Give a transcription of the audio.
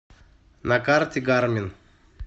на карте гармин